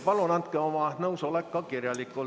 Palun andke oma nõusolek ka kirjalikult.